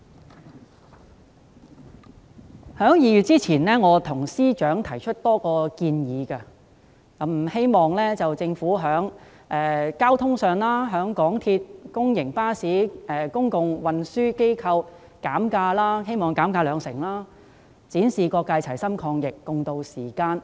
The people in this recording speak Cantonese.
我在2月前曾向司長提出多項建議，希望政府在交通費用方面，鼓勵香港鐵路有限公司、公營巴士及公共運輸機構調低車費兩成，以展示各界齊心抗疫，共渡時艱。